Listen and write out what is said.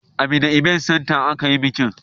A mina ibent santa a ka yi bikin